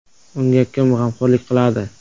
“Unga kim g‘amxo‘rlik qiladi?